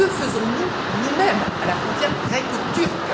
Mais que faisons nous, nous mêmes, à la frontière gréco turque?